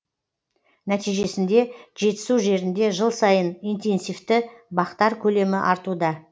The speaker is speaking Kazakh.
нәтижесінде жетісу жерінде жыл сайын интенсивті бақтар көлемі артуда